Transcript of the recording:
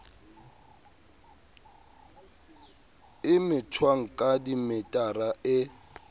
e methwang ka dimetara e